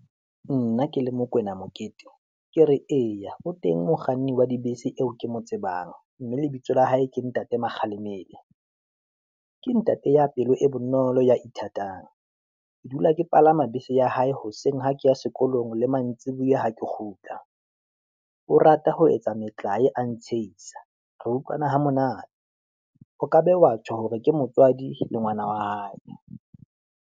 Nna ke le Mokoena Mokete ke re eya o teng mokganni wa dibese eo ke mo tsebang, mme lebitso la hae ke ntate Makgalemele, ke ntate ya pelo e bonolo ya ithatang, ke dula ke palama bese ya hae hoseng ha ke ya sekolong le mantsibuya ha ke kgutla, o rata ho etsa metlaye a ntshehisa. Re utlwana ho monate, o ka be wa tjho hore ke motswadi le ngwana wa hae.